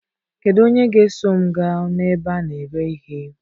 Kedu onye ga-eso m gaa na ebe a na-ere ihe?